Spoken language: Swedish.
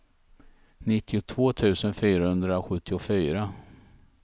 nittiotvå tusen fyrahundrasjuttiofyra